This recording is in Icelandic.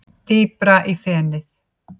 Dýpra í fenið